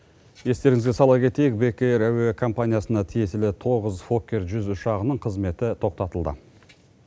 естеріңізге сала кетейік бек эйр әуе компаниясына тиесілі тоғыз фоккер жүз ұшағының қызметі тоқтатылды